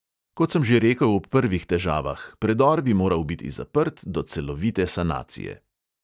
Kot sem že rekel ob prvih težavah, predor bi moral biti zaprt do celovite sanacije.